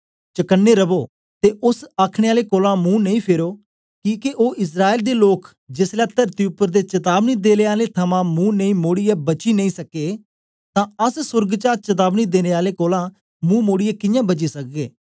चकने रवो ते ओस आखने आले कोलां मुंह नेई फेरो किके ओ इस्राएल दे लोक जेसलै तरती उपर दे चतावनी देने आले थमां मुंह नेई मोड़ीयै बची नेई सक्के तां अस सोर्ग चा चतावनी देने आले कोलां मुंह मोड़ीयै कियां बची सकगे